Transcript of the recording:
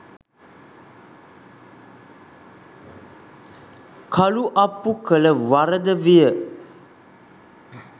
කළුඅප්පු කළ වරද විය